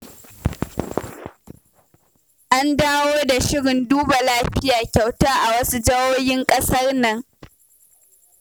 An dawo da shirin duba lafiya kyauta a wasu jihohin ƙasar nan.